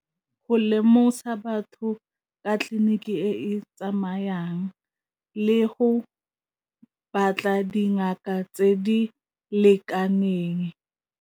Go lemosa batho ka tleliniki e e tsamayang le go batla dingaka tse di lekaneng.